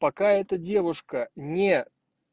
пока эта девушка не